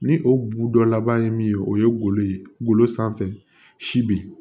Ni o bu dɔ laban ye min ye o ye golo ye golo sanfɛ si bi